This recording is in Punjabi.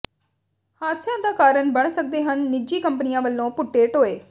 ਹਾਦਸਿਆਂ ਦਾ ਕਾਰਨ ਬਣ ਸਕਦੇ ਹਨ ਨਿੱਜੀ ਕੰਪਨੀਆਂ ਵਲੋਂ ਪੁੱਟੇ ਟੋਏ